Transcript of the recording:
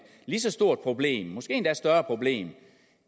stort problem måske endda et større problem